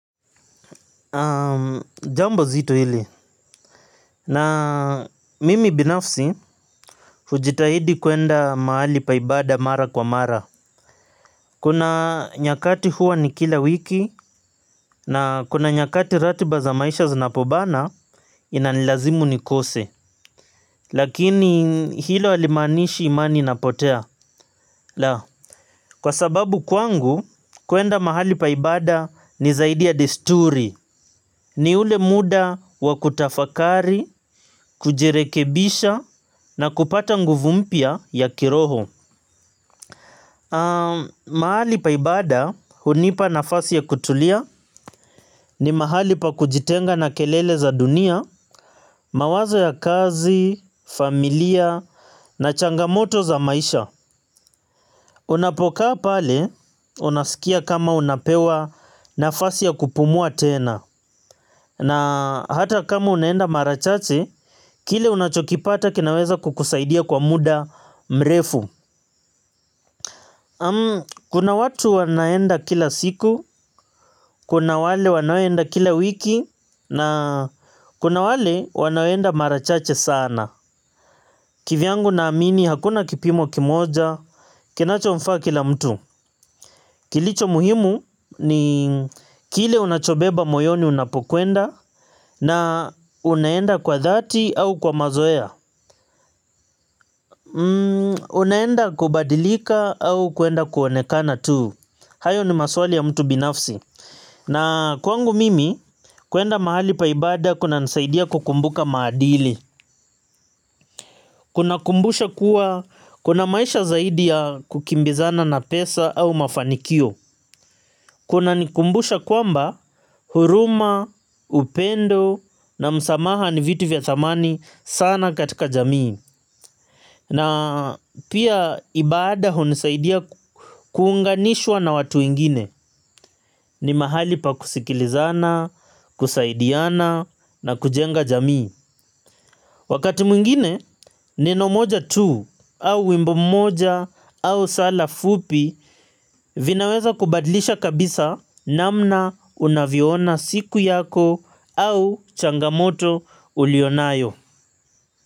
Jambo zito hili. Na mimi binafsi hujitahidi kuenda mahali pa ibada mara kwa mara. Kuna nyakati huwa ni kila wiki na kuna nyakati ratiba za maisha zinapobana inanilazimu nikose. Lakini hilo halimaanishi imani inapotea. La, kwa sababu kwangu kuenda mahali pa ibada ni zaidi ya desturi. Ni ule muda wa kutafakari, kujirekebisha na kupata nguvu mpya ya kiroho. Mahali pa ibada hunipa nafasi ya kutulia ni mahali pa kujitenga na kelele za dunia. Mawazo ya kazi, familia na changamoto za maisha. Unapokaa pale, unasikia kama unapewa nafasi ya kupumua tena. Na hata kama unaenda mara chache, kile unachokipata kinaweza kukusaidia kwa muda mrefu. Kuna watu wanaenda kila siku, kuna wale wanaenda kila wiki, na kuna wale wanaenda marachache sana. Kivyangu naamini hakuna kipimo kimoja, kinachomfaa kila mtu. Kilicho muhimu ni kile unachobeba moyoni unapokwenda na unaenda kwa dhati au kwa mazoea. Unaenda kubadilika au kuenda kuonekana tuu. Hayo ni maswali ya mtu binafsi. Na kwangu mimi kuenda mahali pa ibada kunanisaidia kukumbuka maadili. Kunakumbusha kuwa kuna maisha zaidi ya kukimbizana na pesa au mafanikio. Kunanikumbusha kwamba huruma, upendo na msamaha ni vitu vya thamani sana katika jamii. Na pia ibada hunisaidia kuunganishwa na watu wengine ni mahali pa kusikilizana, kusaidiana na kujenga jamii. Wakati mwingine neno moja tu au wimbo mmoja au sala fupi vinaweza kubadlisha kabisa namna unavyoona siku yako au changamoto ulionayo.